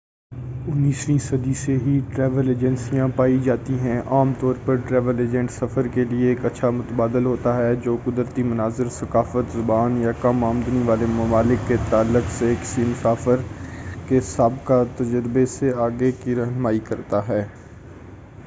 19 ویں صدی سے ہی ٹریول ایجنسیاں پائی جاتی ہیں عام طور پر ٹریول ایجنٹ سفر کے لیے ایک اچھا متبادل ہوتا ہے جو قدرتی مناظر ثقافت زبان یا کم آمدنی والے ممالک کے تعلق سے کسی مسافر کے سابقہ تجربے سے آگے کی رہنمائی کرتا ہے